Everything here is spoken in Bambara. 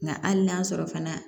Nka hali n'a sɔrɔ fana